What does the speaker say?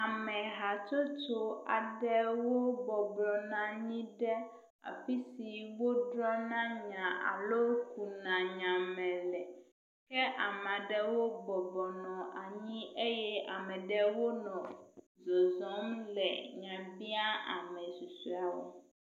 Amehatsotso aɖewo bɔbɔ nɔ anyi ɖe afi si wodzrɔ̃na nya alo kuna nyame le ke ame aɖewo bɔbɔnɔ anyi eye ame ɖewo nɔ zɔzɔm nɔ nya biam ame susuewo.